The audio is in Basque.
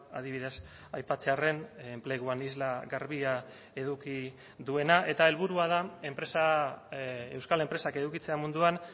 adibidez aipatzearren enpleguan isla garbia eduki duena eta helburua da enpresa euskal enpresak edukitzea munduan